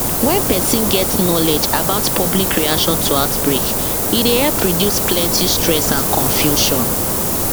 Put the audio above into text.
when person get knowledge about public reaction to outbreak e dey help reduce plenty stress and confusion